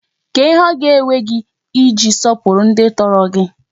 Kedu ihe o ga-ewe gi I ji sopuwara ndi toro gi?